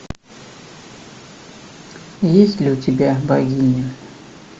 есть ли у тебя богиня